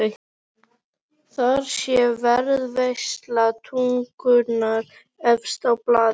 Þar sé varðveisla tungunnar efst á blaði.